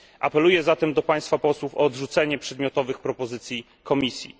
Apeluję zatem do państwa posłów o odrzucenie przedmiotowych propozycji Komisji.